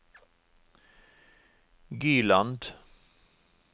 Gyland